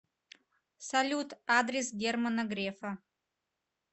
салют адрес германа грефа